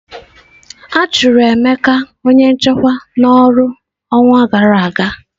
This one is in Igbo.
A chụrụ Emeka onye nchekwa n'ọrụ ọnwa gara aga.